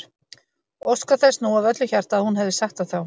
Óskar þess nú af öllu hjarta að hún hefði sagt það þá.